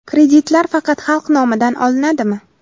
Kreditlar faqat xalq nomidan olinadimi?